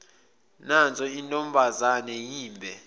nanso intombazane yimbe